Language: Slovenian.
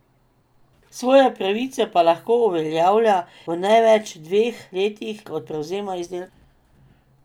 Svoje pravice pa lahko uveljavlja v največ dveh letih od prevzema izdelka.